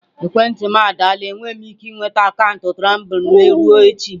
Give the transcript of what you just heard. Ekwentị m adaala enweghị m ike ịnweta akaụntụ Tumblr m ruo echi.